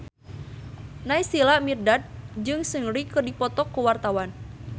Naysila Mirdad jeung Seungri keur dipoto ku wartawan